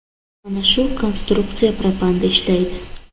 Mana shu konstruksiya propanda ishlaydi.